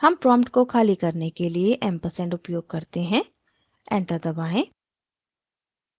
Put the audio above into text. हम prompt को खाली करने के लिए & ampersand उपयोग करते हैं enter दबाएँ